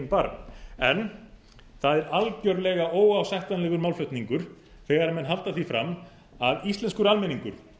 barm en það er algjörlega óásættanlegur málflutningur þegar menn halda því fram að íslenskur almenningur